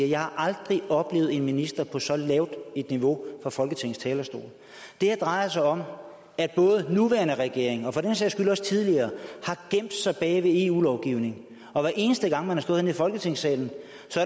jeg aldrig har oplevet en minister på et så lavt niveau fra folketingets talerstol det her drejer sig om at den nuværende regering og for den sags skyld også den tidligere har gemt sig bag ved eu lovgivningen og hver eneste gang man har stået herinde i folketingssalen